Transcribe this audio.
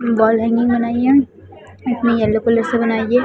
Wall hanging बनाई है इसमें येलो कलर से बनाई हैं।